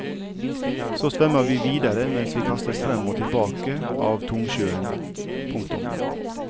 Så svømmer vi videre mens vi kastes frem og tilbake av tungsjøen. punktum